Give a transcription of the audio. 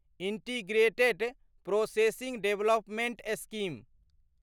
integrated processing development scheme